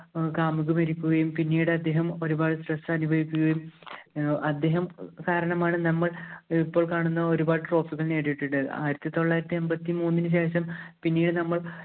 അപ്പോള്‍ കാമുകി മരിക്കുകയും, പിന്നീട് അദ്ദേഹം ഒരുപാട് stress അനുഭവിക്കുകയും, അദ്ദേഹം കാരണമാണ് നമ്മള്‍ ഏർ ഇപ്പോള്‍ കാണുന്ന ഒരു പാട് trophy കള്‍ നേടിയിട്ടുള്ളത്. ആയിരത്തി തൊള്ളായിരത്തി എമ്പത്തി മൂന്നിന് ശേഷം പിന്നീട് നമ്മള്‍